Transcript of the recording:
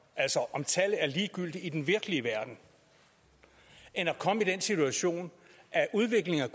altså om tallet er ligegyldigt i den virkelige verden eller at komme i den situation at udviklingen